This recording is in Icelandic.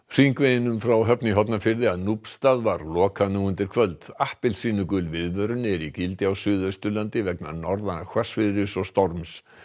hringveginum frá Höfn í Hornafirði að Núpsstað var lokað nú undir kvöld appelsínugul viðvörun er í gildi á Suðausturlandi vegna norðan hvassviðris og storms